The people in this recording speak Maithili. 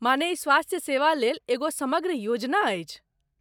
माने ई स्वास्थ्य सेवा लेल एगो समग्र योजना अछि।